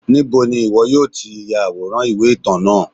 níbo ni iwọ yọọ ti yaworan iwe-itan náá?